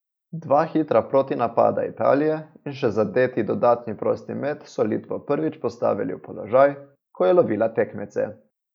Dva hitra protinapada Italije in še zadeti dodatni prosti met so Litvo prvič postavili v položaj, ko je lovila tekmece.